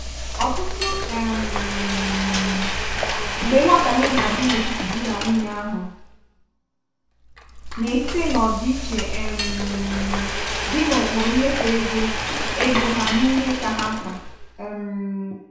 ọtụtụ um mgbe nghotahie na-adị n'etiti di na nwunye ahụ na-esite n'ọdiche um dị n'ụkpụrụ mmefu ego ego ha na ihe kà ha mkpa. um